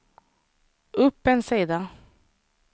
upp en sida